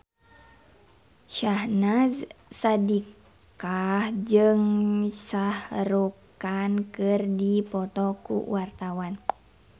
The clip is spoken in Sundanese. Syahnaz Sadiqah jeung Shah Rukh Khan keur dipoto ku wartawan